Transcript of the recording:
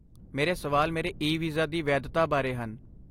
ਮੇਰੇ ਸਵਾਲ ਮੇਰੇ ਈ ਵੀਜ਼ਾ ਦੀ ਵੈਧਤਾ ਬਾਰੇ ਹਨ